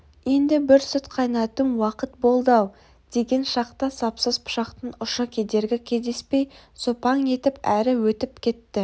енді бір сүт қайнатым уақыт болды-ау деген шақта сапсыз пышақтың ұшы кедергі кездеспей сопаң етіп әрі өтіп кетті